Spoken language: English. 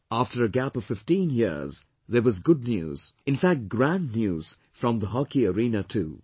After a gap of 15 years, there was good news, in fact grand news from the hockey arena too